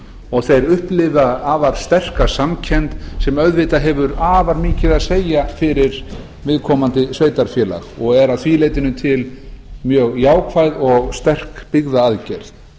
og þeir upplifa afar sterka samkennd sem auðvitað hefur afar mikið að segja fyrir viðkomandi sveitarfélag og er að því leytinu til mjög jákvæð og sterk byggðaaðgerð